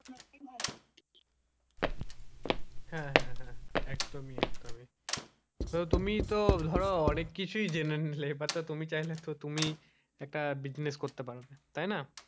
হ্যাঁ হ্যাঁ হ্যাঁ তুমি একদমই একদমই তো তুমিই তো ধরো অনেক কিছুই জেনে নিলে এবার তো তুমি চাইলে তুমি একটা business করতে পারো তাই না,